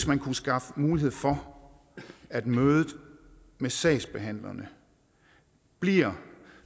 man skaffede mulighed for at mødet med sagsbehandlerne bliver